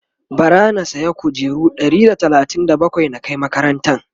bara na saya kujeru Ɗari da talatin da bakwai na Kai makarantan